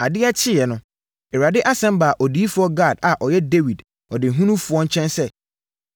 Adeɛ kyeeɛ no, Awurade asɛm baa odiyifoɔ Gad a ɔyɛ Dawid ɔdehunufoɔ nkyɛn sɛ: